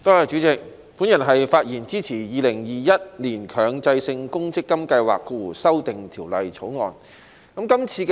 我發言支持《2021年強制性公積金計劃條例草案》。